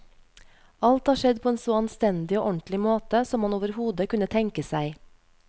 Alt har skjedd på en så anstendig og ordentlig måte som man overhodet kunne tenke seg.